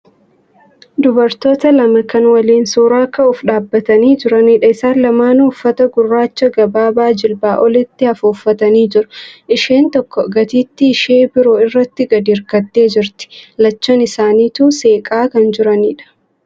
Dubartoota lama kan waliin suuraa ka'uuf dhaabbatanii jiranidha. Isaan lamaanuu uffata gurraacha gabaabaa jilbaa olitti hafu uffatanii jiru. Isheen tokko gatiittii ishee biroo irratti gadi hirkattee jirti. Lachan isaaniituu seeqaa kan jiranidha.